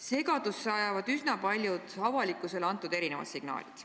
Segadusse ajavad üsna paljud avalikkusele antud signaalid.